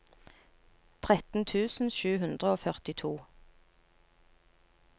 tretten tusen sju hundre og førtito